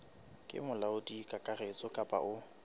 ke molaodi kakaretso kapa o